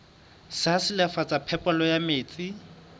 sa silafatsa phepelo ya metsi